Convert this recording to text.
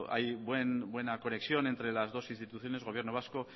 hay buena conexión entre las dos instituciones gobierno vasco